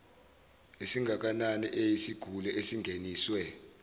esingakanani eyisiguli esingeniswe